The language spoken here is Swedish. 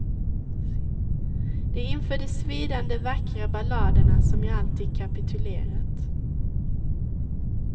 Det är inför de svidande vackra balladerna som jag alltid kapitulerat.